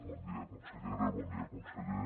bon dia consellera bon dia conseller